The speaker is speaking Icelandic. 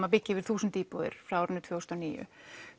að byggja yfir þúsund íbúðir frá árinu tvö þúsund og níu